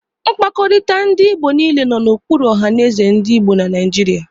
Mkpakọrịta ndị Igbo niile nọ n'okpuru ohanézè ndị Igbo na Naijiria.